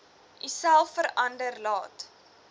uself verder laat